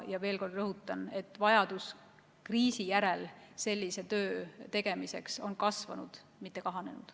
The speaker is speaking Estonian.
Ja veel kord rõhutan, et vajadus kriisi järel sellise töö tegemiseks on kasvanud, mitte kahanenud.